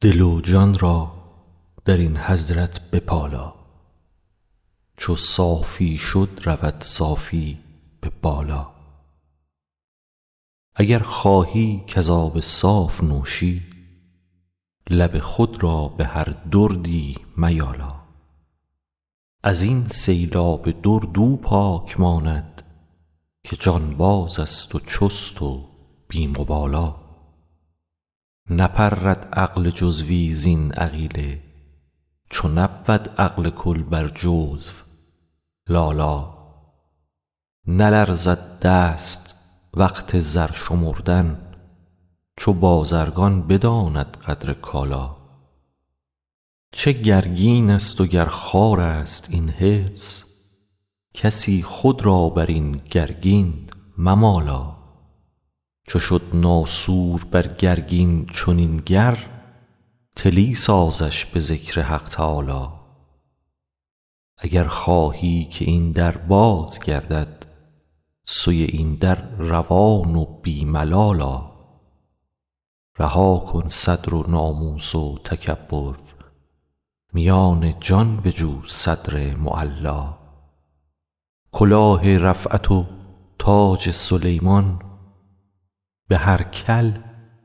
دل و جان را در این حضرت بپالا چو صافی شد رود صافی به بالا اگر خواهی که ز آب صاف نوشی لب خود را به هر دردی میالا از این سیلاب درد او پاک ماند که جانبازست و چست و بی مبالا نپرد عقل جزوی زین عقیله چو نبود عقل کل بر جزو لالا نلرزد دست وقت زر شمردن چو بازرگان بداند قدر کالا چه گرگینست وگر خارست این حرص کسی خود را بر این گرگین ممالا چو شد ناسور بر گرگین چنین گر طلی سازش به ذکر حق تعالا اگر خواهی که این در باز گردد سوی این در روان و بی ملال آ رها کن صدر و ناموس و تکبر میان جان بجو صدر معلا کلاه رفعت و تاج سلیمان به هر کل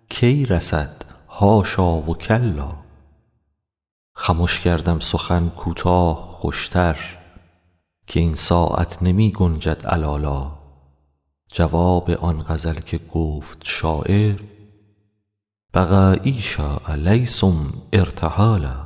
کی رسد حاشا و کلا خمش کردم سخن کوتاه خوشتر که این ساعت نمی گنجد علالا جواب آن غزل که گفت شاعر بقایی شاء لیس هم ارتحالا